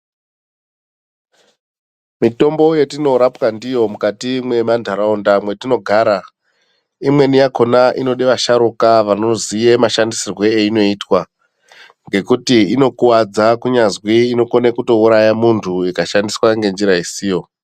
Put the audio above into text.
Mitombo yetinorapwa ndiyo mukati mwemandaraunda mwetinogara imweni yakona inode vasharukwa vanoziye mashandisirwe einoitwa kenguti inokuwadza kunyazi inokone kutouraya muntu ikashandiswa ngenzira isiyo.